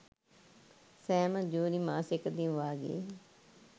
සෑම ජුනි මාසයකදීම වාගේ